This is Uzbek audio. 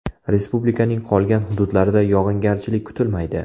Respublikaning qolgan hududlarida yog‘ingarchilik kutilmaydi.